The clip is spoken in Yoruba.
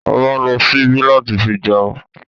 A ma ń lo ṣíbí láti fi jẹun